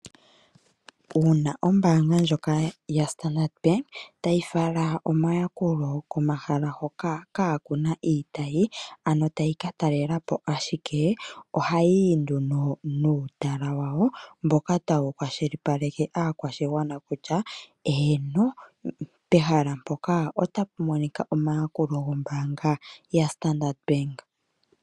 Uuna ombaanga ndjoka yoStandard tayi fala omayakulo komahala hoka ka kuna iitayi, ano tayi ka talelapo ashike, ohaa yi nduno nuutala wawo, mboka tawu kwashilipaleke aakwashigwana kutya, eeno pehala mpoka otapu monika omayakulo gombaanga yaStandard.